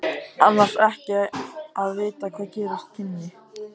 Annars ekki að vita hvað gerast kynni.